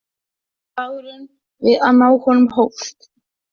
Og slagurinn við að ná honum hófst.